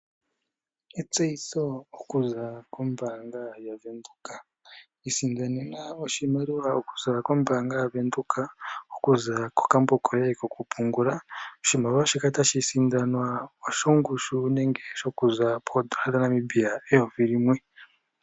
Etseyitho okuza kombaanga yaVenduka ,isindanena oshimaliwa okuza kombaanga yaVenduka ,okuza kokambo koye kokupungula. Oshimaliwa shika tashi sindanwa oshongushu nenge shokuza poodola dhaNamibia eyovi limwe.